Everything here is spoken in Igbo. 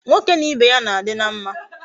Nwoke na Ibe ya na adi na mma